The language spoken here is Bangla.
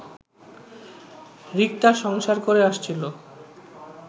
রিক্তা সংসার করে আসছিলো